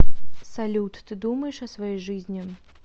салют ты думаешь о своей жизни